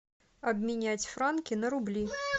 обменять франки на рубли